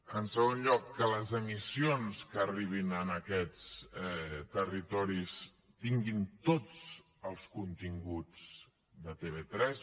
en segon lloc que les emissions que arribin a aquests territoris tinguin tots els continguts de tv3